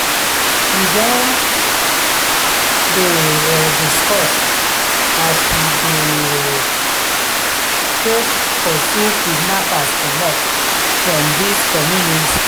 we don um dey um discuss as we go um take pursue kidnappers comot from dis community.